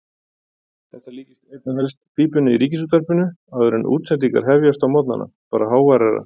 Þetta líkist einna helst pípinu í Ríkisútvarpinu áður en útsendingar hefjast á morgnana, bara háværara.